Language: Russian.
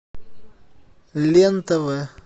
лен тв